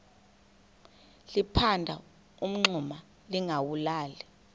liphanda umngxuma lingawulali